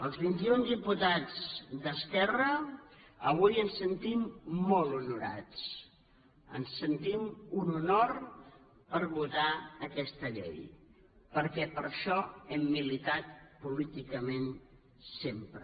els vintiun diputats d’esquerra avui ens sentim molt honorats sentim un honor per votar aquesta llei perquè per això hem militat políticament sempre